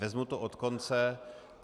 Vezmu to od konce.